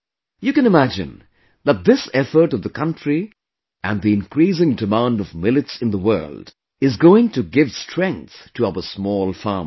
You can imagine that this effort of the country and the increasing demand of Millets in the world is going to give strength to our small farmers